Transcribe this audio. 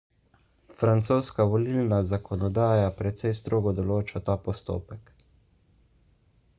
francoska volilna zakonodaja precej strogo določa ta postopek